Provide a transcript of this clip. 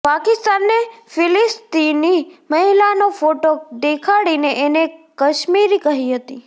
પાકિસ્તાને ફિલિસ્તીની મહિલાનો ફોટો દેખાડીને એને કાશ્મીરી કહી હતી